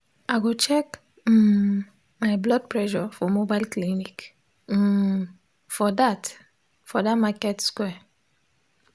i go check um my blood pressure for mobile clinic um for that for that market square